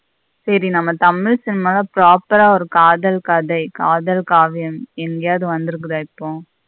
சரி தமிழ் cinema ல proper ஆ காதல் கதை காதல் காவியம் எங்கயாவது வந்துருக்குத இப்போ.